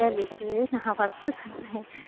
என்ன லூசு நான் first சொன்னேன்